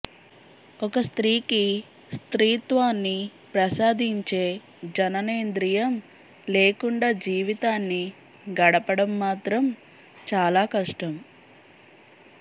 ఒక స్త్రీకి స్త్రీత్వాన్ని ప్రసాదించే జననేంద్రియం లేకుండా జీవితాన్ని గడపడం మాత్రం చాలా కష్టం